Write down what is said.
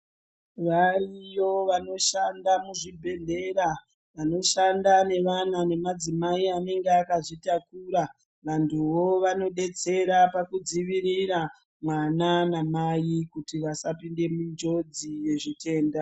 Variyo vanoshanda muzvibhedhlera vanoshanda nevana nemadzimai anenge akazvitakura. Vantuvo vanobetsera pakudzivirira mwana namai kuti vasapinde mujodzi yezvitenda.